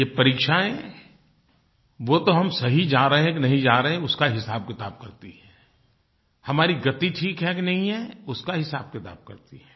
ये परीक्षाएँ वो तो हम सही जा रहे हैं कि नहीं जा रहे उसका हिसाबकिताब करती हैं हमारी गति ठीक है कि नहीं है उसका हिसाबकिताब करती हैं